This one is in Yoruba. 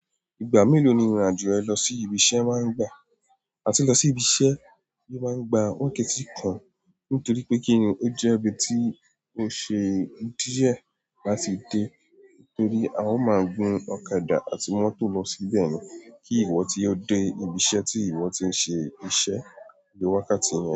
Ìgbà mélòó ni ìrìn-àjò rẹ lọ sí ibi iṣẹ́ máa ń gbà? Àti lọ sí ibi iṣẹ́ ò máa ń gba wákàtí kan nítorí pé kíni ó jẹ́ ibi tí ó ṣe díẹ̀ láti dé torí a ó máa ń gun ọ̀kadà àti mọ́tò lọ síbẹ̀ ni kí ìwọ tí ó dé ibi iṣẹ́ tí ìwọ ti ń ṣe iṣẹ́ lé wákàtí yẹn.